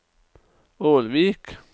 Ålvik